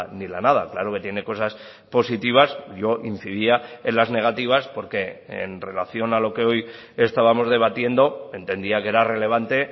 ni la nada claro que tiene cosas positivas yo incidía en las negativas porque en relación a lo que hoy estábamos debatiendo entendía que era relevante